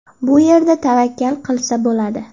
Bu yerda tavakkal qilsa bo‘ladi.